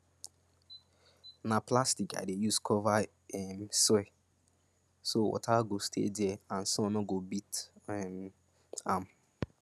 na plastic i dey use cover um soil so water go stay there and sun no go beat um am